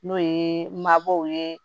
N'o ye mabɔw ye